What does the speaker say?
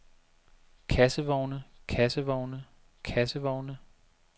kassevogne kassevogne kassevogne